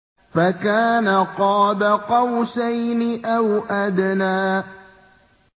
فَكَانَ قَابَ قَوْسَيْنِ أَوْ أَدْنَىٰ